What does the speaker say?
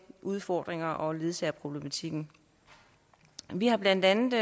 udfordringer og ledsagerproblematikken vi har blandt andet